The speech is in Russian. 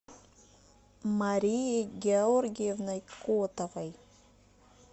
марией георгиевной котовой